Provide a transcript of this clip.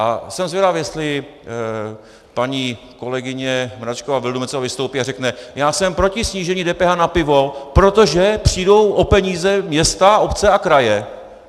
A jsem zvědav, jestli paní kolegyně Mračková Vildumetzová vystoupí a řekne: Já jsem proti snížení DPH na pivo, protože přijdou o peníze města, obce a kraje.